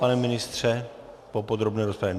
Pane ministře, po podrobné rozpravě?